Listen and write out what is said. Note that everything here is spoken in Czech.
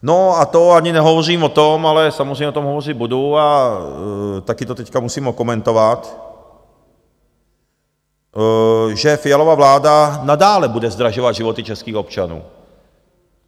No a to ani nehovořím o tom, ale samozřejmě o tom hovořit budu a taky to teď musím okomentovat, že Fialova vláda nadále bude zdražovat životy českých občanů.